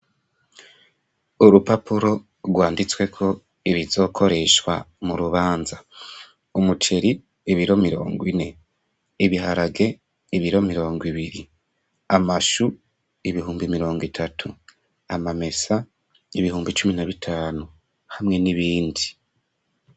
Urupapuro rwanditsweko ibizokoreshwa mu rubanza, umuceri: ibiro mirongo ine; ibiharage: ibiro mirongo ibiri; amashu: ibihumbi mirongo itatu; amamesa ibihumbi cumi na bitanu; hamwe n'ibindi.